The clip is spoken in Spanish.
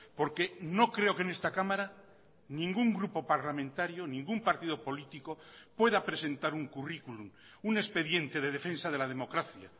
porque no creo que en esta cámara ningún grupo parlamentario ningún partido político pueda presentar un currículum un expediente de defensa de la democracia